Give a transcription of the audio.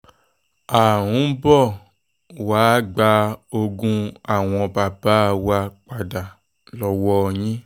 à ń bọ̀ wàá gba ogún àwọn bàbá wa padà lọ́wọ́ yín